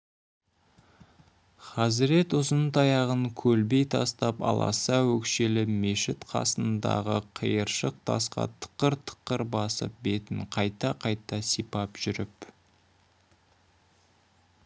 хазірет ұзын таяғын көлбей тастап аласа өкшелі мешіт қасындағы қиыршық тасқа тықыр-тықыр басып бетін қайта-қайта сипап жүріп